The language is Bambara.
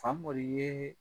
Fagolo ye